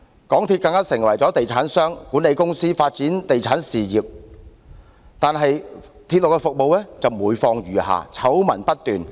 港鐵公司更成為地產商和管理公司，發展地產事業，但是，其鐵路服務則每況愈下，醜聞不斷。